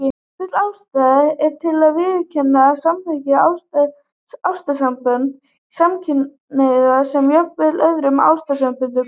Full ástæða er til að viðurkenna og samþykkja ástarsambönd samkynhneigðra sem jafnrétthá öðrum ástarsamböndum.